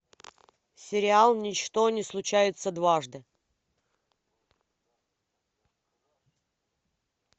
сериал ничто не случается дважды